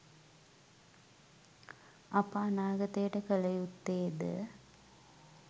අප අනාගතයට කල යුත්තෙද